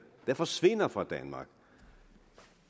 der forsvinder fra danmark